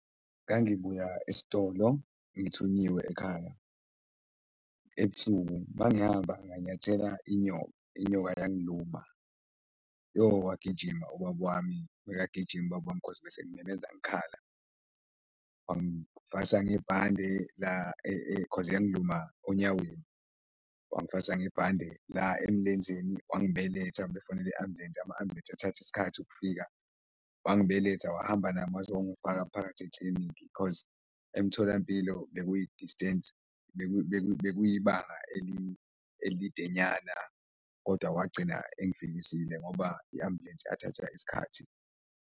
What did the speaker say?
Ngangibuya esitolo ngithunyiwe ekhaya ebusuku, mangihamba nganyathela inyoka, inyoka yangiluma, yoh! Wagijima ubab wami, bekagijima ubab wami cause besengimemeza ngikhala. Wangifasa ngebhande cause yangiluma onyaweni, wangifasa ngebhande la emlenzeni, wangibeletha befonela iambulensi, ama-ambulensi ethatha isikhathi ukufika, wangibeletha wahamba nami waze wayongifaka phakathi eklinikhi, cause emtholampilo bekuyi-distance, bekuyibanga elide nyana kodwa wagcina engifikisile ngoba iambulensi yathatha isikhathi.